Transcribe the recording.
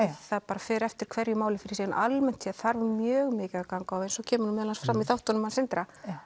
það fer eftir hverju máli fyrir sig en almennt séð þarf mjög mikið að ganga á eins og kemur meðal annars fram í þáttunum hans Sindra